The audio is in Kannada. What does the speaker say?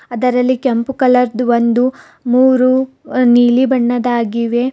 ಅದರಲ್ಲಿ ಕೆಂಪು ಕಲರ್ದು ಒಂದು ಮೂರು ನೀಲಿ ಬಣ್ಣದಾಗಿವೆ.